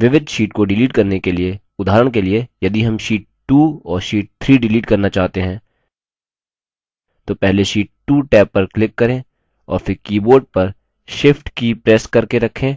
विविध sheets को shift करने के लिए उदाहरण के लिए यदि हम sheet 2 और sheet 3 shift करना चाहते हैं तो पहले sheet 2 टैब पर click करें और फिर keyboard पर shift की प्रेस करके रखें